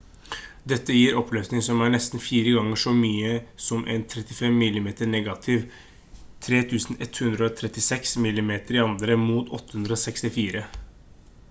dette gir oppløsning som er nesten fire ganger så mye som en 35 mm negativ 3136 mm2 mot 864